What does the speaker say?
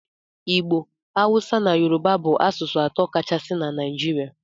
Igbo, Hausa na Yoruba bụ asụsụ atọ kachasị na Naịjirịa.